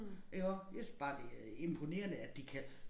Iggå jeg synes bare det er imponerende at de kan